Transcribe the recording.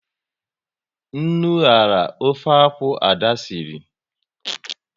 Nnu nyara ofe akwụ, Ada sịrị